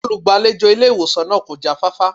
Olùgbàlejò ilé ìwòsàn náà kò jáfáfá